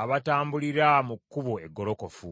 abatambulira mu kkubo eggolokofu.